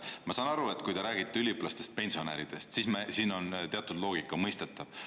Ma saan aru, kui te räägite üliõpilastest ja pensionäridest, siis siin on teatud loogika, see on mõistetav.